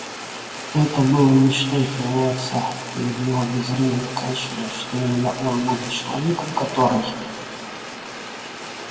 это было мечтой твоего отца перед его безвременной кончиной что именно он будет человеком который